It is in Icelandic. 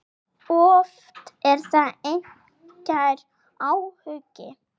Oft er þetta einskær áhugi.